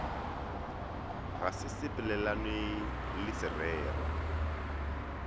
ga se sepelelane le sererwa